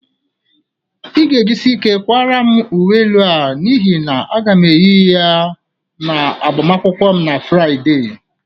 Ị ga-ejisi ike kwara m uwe elu a n'ihi na aga m eyi ya n'agbamụnkwm na Fraịde.